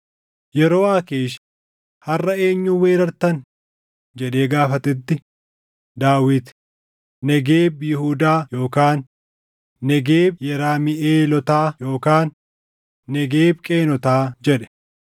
Yeroo Aakiish, “Harʼa eenyun weerartan?” jedhee gaafatetti, Daawit, “Negeeb Yihuudaa” yookaan “Negeeb Yeramiʼeelotaa” yookaan “Negeeb Qeenotaa” jedhe.